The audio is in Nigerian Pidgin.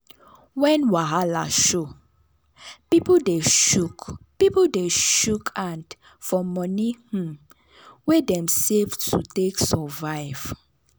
when wahala show people dey shook people dey shook hand for moni um wey dem save to take survive.